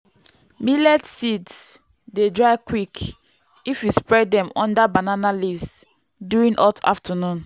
millet seeds dey dry quick if you spread dem under banana leaves during hot afternoon.